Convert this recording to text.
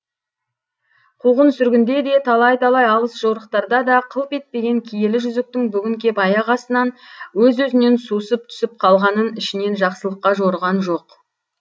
қуғын сүргінде де талай талай алыс жорықтарда да қылп етпеген киелі жүзіктің бүгін кеп аяқ астынан өз өзінен сусып түсіп қалғанын ішінен жақсылыққа жорыған жоқ